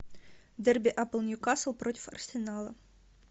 дерби апл ньюкасл против арсенала